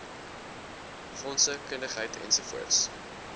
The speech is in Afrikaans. fondse kundigheid ens